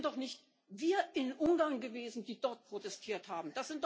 Es sind doch nicht wir in Ungarn gewesen, die dort protestiert haben!